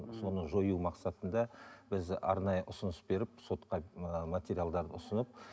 ммм соны жою мақсатында біз арнайы ұсыныс беріп сотқа ыыы материалдарды ұсынып